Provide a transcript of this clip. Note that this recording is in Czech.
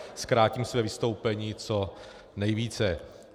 Zkrátím své vystoupení co nejvíce.